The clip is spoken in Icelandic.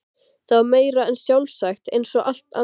Það var meira en sjálfsagt eins og allt annað.